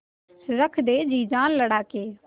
रख दे जी जान लड़ा के